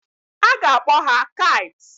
A ga-akpọ ha Kites.